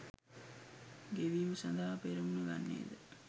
ගෙවීම සඳහා පෙරමුණ ගන්නේද